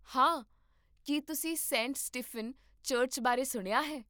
ਹਾਂ.. ਕੀ ਤੁਸੀਂ ਸੇਂਟ ਸਟੀਫਨ ਚਰਚ ਬਾਰੇ ਸੁਣਿਆ ਹੈ?